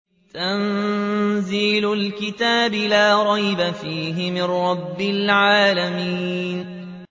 تَنزِيلُ الْكِتَابِ لَا رَيْبَ فِيهِ مِن رَّبِّ الْعَالَمِينَ